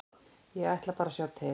Ég ætla bara að sjá til.